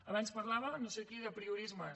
abans parlava no sé qui d’apriorismes